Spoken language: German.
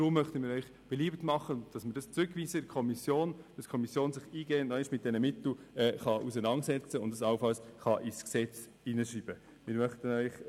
Deshalb machen wir Ihnen beliebt, den Artikel 118 Absatz 2 in die Kommission zurückzuweisen, damit sich diese nochmals eingehend mit diesen Mitteln auseinandersetzen und sie nötigenfalls ins Gesetz schreiben kann.